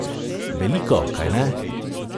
Veliko, kajne?